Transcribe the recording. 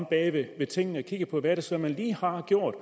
bag ved tingene og kigger på hvad det så er man lige har gjort